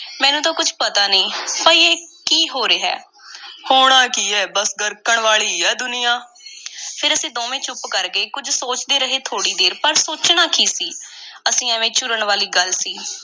ਮੈਨੂੰ ਤਾਂ ਕੁਝ ਪਤਾ ਨਹੀਂ, ਪਈ ਇਹ ਹੋ ਕੀ ਰਿਹੈ। ਹੋਣਾ ਕੀ ਐ, ਬੱਸ ਗਰਕਣ ਵਾਲੀ ਐ ਦੁਨੀਆ। ਫੇਰ ਅਸੀਂ ਦੋਵੇਂ ਚੁੱਪ ਕਰ ਗਏ। ਕੁਝ ਸੋਚਦੇ ਰਹੇ, ਥੋੜ੍ਹੀ ਦੇਰ। ਪਰ ਸੋਚਣਾ ਕੀ ਸੀ, ਅਸੀਂ ਐਵੇਂ ਝੂਰਨ ਵਾਲੀ ਗੱਲ ਸੀ।